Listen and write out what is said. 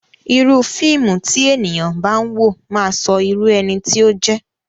Irúu fíìmù tí ènìyàn bá ń wò máà ń sọ irú ẹni tí ó jẹ́.